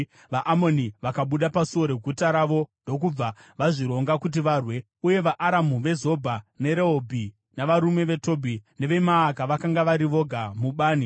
VaAmoni vakabuda pasuo reguta ravo ndokubva vazvironga kuti varwe, uye vaAramu veZobha neRehobhi navarume veTobhi neveMaaka vakanga vari voga mubani.